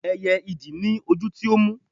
ẹyẹ idì ni ojú tí ó mú